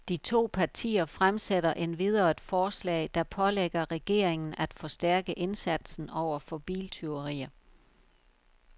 De to partier fremsætter endvidere et forslag, der pålægger regeringen af forstærke indsatsen over for biltyverier.